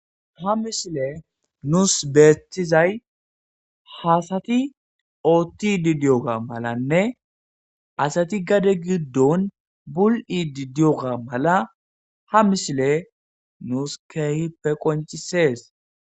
Ha misile nuus beethizay hasati ootti didiyoga malanne asati gade giddon bul7i didiyoga mala ha mishile nuus keehippe qoncisees